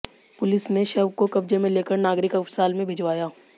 police ने शव को कब्जे में लेकर नागरिक अस्पताल में भिजवाया